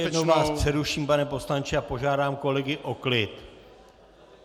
Ještě jednou vás přeruším, pane poslanče, a požádám kolegy o klid.